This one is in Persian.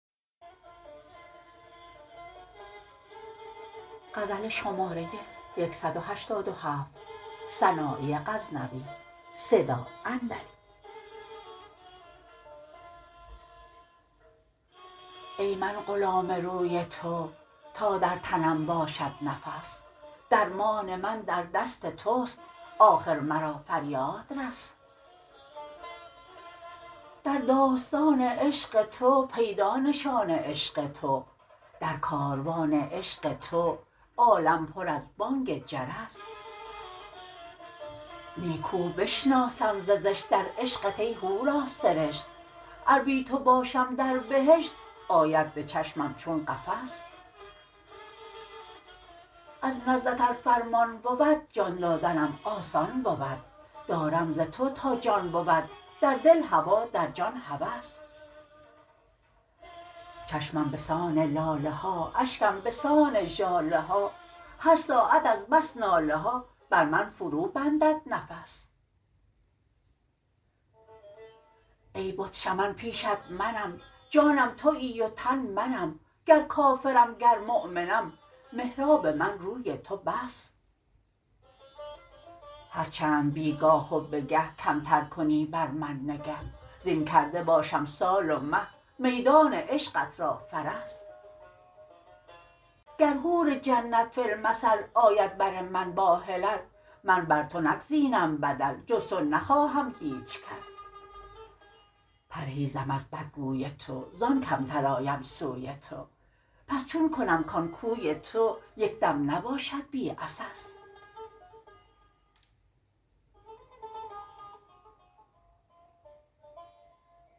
ای من غلام روی تو تا در تنم باشد نفس درمان من در دست توست آخر مرا فریاد رس در داستان عشق تو پیدا نشان عشق تو در کاروان عشق تو عالم پر از بانگ جرس نیکو بشناسم ز زشت در عشقت ای حوراسرشت ار بی تو باشم در بهشت آید به چشمم چون قفس از نزدت ار فرمان بود جان دادنم آسان بود دارم ز تو تا جان بود در دل هوا در جان هوس چشمم به سان لاله ها اشکم به سان ژاله ها هر ساعت از بس ناله ها بر من فرو بندد نفس ای بت شمن پیشت منم جانم تویی و تن منم گر کافرم گر مؤمنم محراب من روی تو بس هر چند بی گاه و به گه کمتر کنی بر من نگه زین کرده باشم سال و مه میدان عشقت را فرس گر حور جنت فی المثل آید بر من با حلل من بر تو نگزینم بدل جز تو نخواهم هیچ کس پرهیزم از بدگوی تو زان کمتر آیم سوی تو پس چون کنم کان کوی تو یک دم نباشد بی عسس